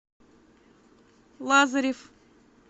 лазарев